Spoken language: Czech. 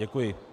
Děkuji.